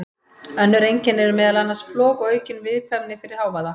Önnur einkenni eru meðal annars flog og aukin viðkvæmni fyrir hávaða.